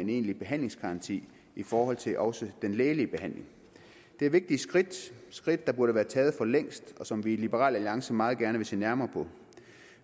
en egentlig behandlingsgaranti i forhold til også den lægelige behandling det er vigtige skridt skridt der burde være taget for længst og som vi i liberal alliance meget gerne vil se nærmere på